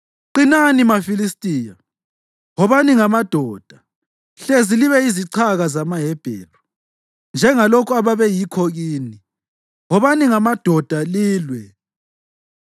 Qinani, maFilistiya! Wobani ngamadoda hlezi libe yizichaka zamaHebheru, njengalokhu ababeyikho kini. Wobani ngamadoda, lilwe!”